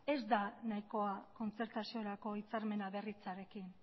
ez da nahikoa kontzertaziorako hitzarmen berritzearekin